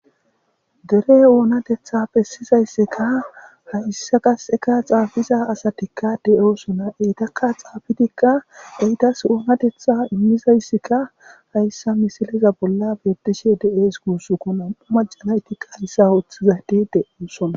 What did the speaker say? Dere oonatetha pessizayssikka hayssa qaseka xaafiza asatikka de7oosona eytakka xaafitikka eytas oonatetha immizayssikka hayssa misileza bolla bedishe de7ees guussuko nam7u majanaytikka hayssa ooththizati de7oosona.